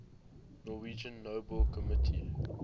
norwegian nobel committee